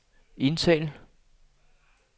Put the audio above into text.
indtal